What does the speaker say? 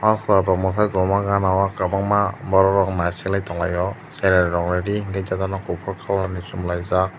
ah chwrairok mwsai tongma ganao kwbangma borokrok naisiklai tong lai o cherai rokni ri hwnkheno jotono kuphu colour ni chumlaijak.